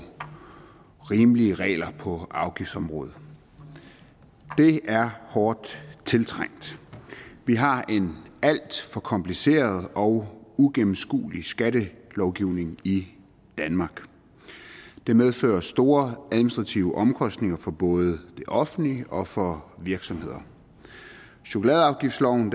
rimelige regler på afgiftsområdet det er hårdt tiltrængt vi har en alt for kompliceret og uigennemskuelig skattelovgivning i danmark det medfører store administrative omkostninger for både det offentlige og for virksomheder chokoladeafgiftsloven